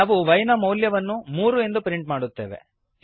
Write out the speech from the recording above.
ನಾವು y ನ ಮೌಲ್ಯವನ್ನು ಮೂರು ಎಂದು ಪ್ರಿಂಟ್ ಮಾಡುತ್ತೇವೆ